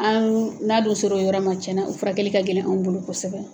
Anw n'a dun ser'o yɔrɔ ma tiɲɛ na o furakɛli ka gɛlɛn anw bolo kosɛbɛ.